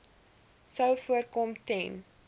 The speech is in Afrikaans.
sou voorkom ten